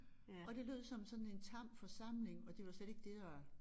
Og det lød som sådan en tam forsamling og det var slet ikke det der var